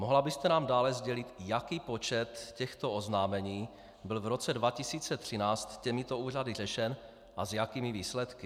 Mohla byste nám dále sdělit, jaký počet těchto oznámení byl v roce 2013 těmito úřady řešen a s jakými výsledky?